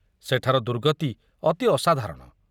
ସେଠାର ଦୁର୍ଗତି ଅତି ଅସାଧାରଣ।